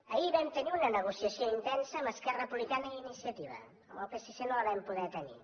ahir vam tenir una negociació intensa amb esquerra republicana i iniciativa amb el psc no la vam poder tenir